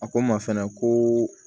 A ko n ma fɛnɛ ko